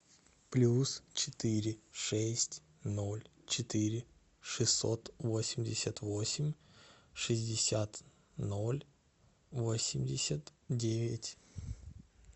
плюс четыре шесть ноль четыре шестьсот восемьдесят восемь шестьдесят ноль восемьдесят девять